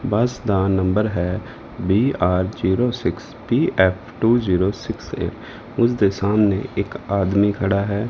ਬੱਸ ਦਾ ਨੰਬਰ ਹੈ B R zero six P F two zero six eight ਓਸਦੇ ਸਾਹਮਣੇ ਇੱਕ ਆਦਮੀ ਖੜਾ ਹੈ।